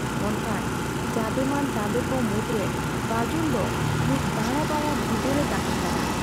ᱚᱱᱠᱟᱱ ᱡᱟᱸᱫᱮᱢᱟᱱ ᱛᱟᱸᱫᱮᱠᱚ ᱢᱩᱫᱽᱨᱮ ᱵᱟᱡᱩᱱ ᱫᱚ ᱢᱤᱫ ᱫᱟᱸᱲᱟᱵᱟᱲᱟ ᱜᱤᱫᱟᱹᱨ ᱮ ᱛᱟᱦᱮᱸ ᱠᱟᱱᱟ ᱾